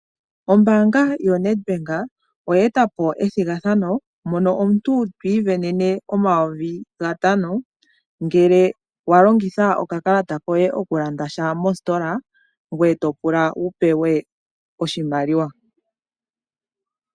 Ombanga yoNed Bank oye etapo ethigathano mono omuntu twiivenene omayovi gatano ngele wa longitha okakalata koye okulanda sha mositola ngoye to pula wu pewe oshimaliwa.